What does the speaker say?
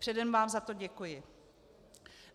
Předem vám za to děkuji.